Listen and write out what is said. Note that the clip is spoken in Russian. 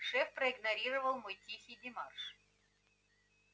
шеф проигнорировал мой тихий демарш